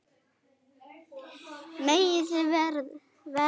Megi svo verða.